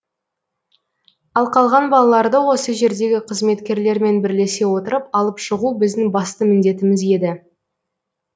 ал қалған балаларды осы жердегі қызметкерлермен бірлесе отырып алып шығу біздің басты міндетіміз еді